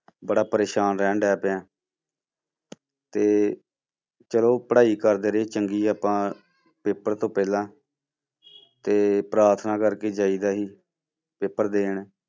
ਬੜਾ ਪਰੇਸਾਨ ਰਹਿਣ ਲੱਗ ਪਿਆ ਤੇ ਚਲੋ ਪੜ੍ਹਾਈ ਕਰਦੇ ਰਹੇ ਚੰਗੀ ਆਪਾਂ ਪੇਪਰ ਤੋਂ ਪਹਿਲਾਂ ਤੇ ਪ੍ਰਾਰਥਨਾ ਕਰਕੇ ਜਾਈਦਾ ਸੀ ਪੇਪਰ ਦੇਣ।